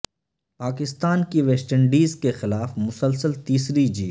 پاکستان کی West Indies کے خلاف مسلسل تیسری جیت